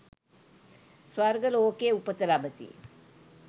ස්වර්ග ලෝකයේ උපත ලබති.